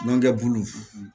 nɔnkɛ bulu